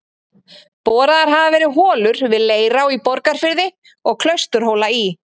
Boraðar hafa verið holur við Leirá í Borgarfirði og Klausturhóla í